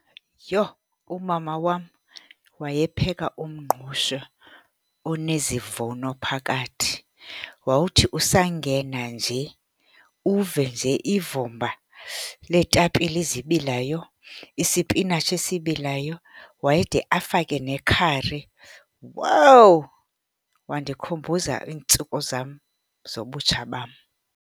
Yho, umama wam wayepheka umngqusho onezivuno phakathi. Wawuthi usangena nje uve nje ivumba leetapile ezibilayo, isipinatshi esibilayo, wayede afake nekhari. Wowu, wandikhumbuza iintsuku zam zobutsha bam.